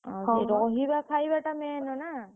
ରହିବା ଖାଇବାଟା main ନା।